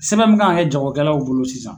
Sɛbɛn min kan ka kɛ jagokɛlaw bolo sisan